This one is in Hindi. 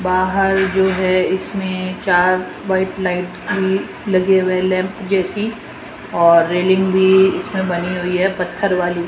बाहर जो है इसमें चार व्हाइट लाइट की लगे हुए लैंप जैसी और रेलिंग भी इसमें बनी हुई है पत्थर वाली।